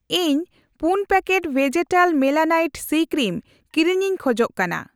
ᱤᱧ ᱯᱩᱱ ᱯᱮᱠᱮᱴ ᱠᱚ ᱵᱷᱮᱡᱮᱴᱟᱞ ᱢᱮᱞᱟᱱᱟᱭᱤᱴ ᱥᱤᱼᱠᱨᱤᱢ ᱠᱤᱨᱤᱧ ᱞᱟᱹᱜᱤᱫ ᱾